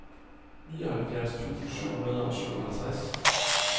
nioghalvfjerds tusind syv hundrede og syvoghalvtreds